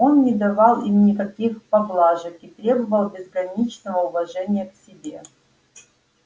он не давал им никаких поблажек и требовал безграничного уважения к себе